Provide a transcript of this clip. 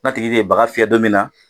Na tigi tɛ baga fiyɛ don min na